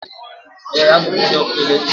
Ee, abụ m onye ọkụ eletrik.